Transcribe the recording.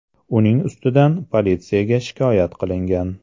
Uning ustidan politsiyaga shikoyat qilingan.